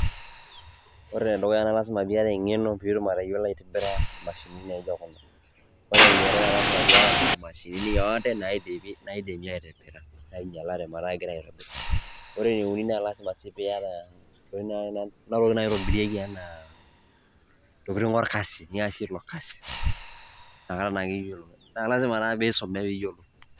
Ore enedukuya na lasima piata eng'eno pitum atayiolo aitibira imashinini naijo kuna. Ore eniare na lasima piata nena mashinini yoote naidimi aitibira, nainyalate meeta kegirai aitobir. Ore eneuni na lasima si piata kuna tokiting' naitobirieki enaa, ntokiting' orkasi. Niasie ilo kasi. Nakata naake iyiolou. Na lasima na pisume piyiolo.